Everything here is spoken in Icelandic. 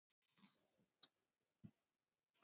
Vandinn versnar bara.